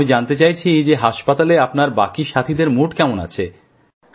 আমি জানতে চাইছি যে হাসপাতালে আপনার বাকি সাথীদের মনোবল কেমন আছে